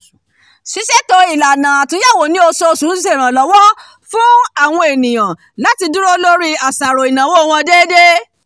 ṣíṣètò ìlànà atúnyẹ̀wò ni oṣooṣù ń ṣe ìrànlọ́wọ́ fún àwọn ènìyàn láti dúró lórí àṣàrò ìnáwó wọn déédéé